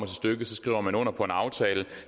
stykket skriver man under på en aftale